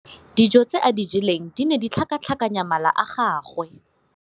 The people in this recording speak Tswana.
Dijô tse a di jeleng di ne di tlhakatlhakanya mala a gagwe.